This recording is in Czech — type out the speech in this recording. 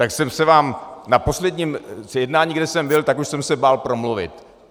Tak jsem se vám na posledním jednání, kde jsem byl, tak už jsem se bál promluvit.